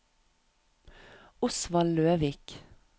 Osvald Løvik